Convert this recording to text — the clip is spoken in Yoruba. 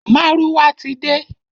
Márúwá ti de.